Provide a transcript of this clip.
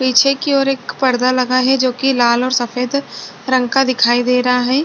पीछे की ओर एक पर्दा लगा है जो की लाल और सफेद रंग का दिखाई दे रहा है।